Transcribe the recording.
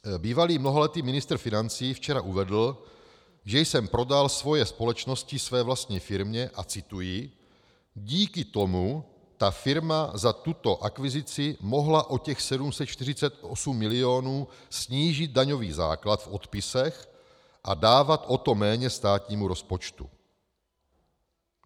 Bývalý mnoholetý ministr financí včera uvedl, že jsem prodal svoje společnosti své vlastní firmě a - cituji - díky tomu ta firma za tuto akvizici mohla o těch 748 milionů snížit daňový základ v odpisech a dávat o to méně státnímu rozpočtu.